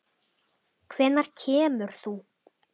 Hvenær kemur þú?